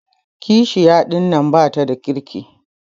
Kashiya ɗinnan bata da kirki.